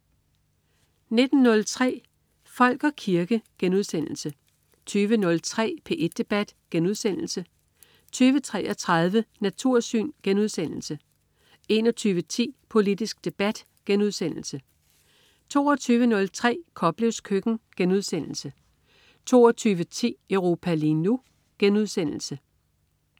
19.03 Folk og kirke* 20.03 P1 Debat* 20.33 Natursyn* 21.10 Politisk debat* 22.03 Koplevs køkken* 22.10 Europa lige nu*